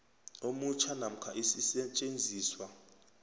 omutjha namkha isisetjenziswa